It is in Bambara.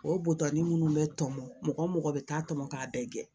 O butani minnu bɛ tɔmɔ mɔgɔ mɔgɔ bɛ taa tɔmɔ k'a bɛɛ gɛn